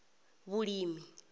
vhulimi